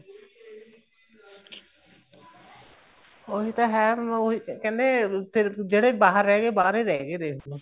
ਉਹੀ ਤਾਂ ਹੈ ਕਹਿੰਦੇ ਫ਼ੇਰ ਜਿਹੜੇ ਬਾਹਰ ਰਹੇ ਗਏ ਉਹ ਬਾਹਰ ਹੀ ਰਹੇ ਗਏ ਦੇਖਲੋ